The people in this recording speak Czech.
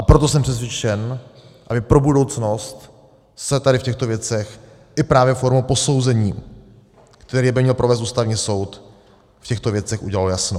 A proto jsem přesvědčen, aby pro budoucnost se tady v těchto věcech i právě formou posouzení, které by měl provést Ústavní soud, v těchto věcech udělalo jasno.